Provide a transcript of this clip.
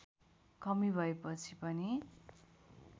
कमी भएपछि पनि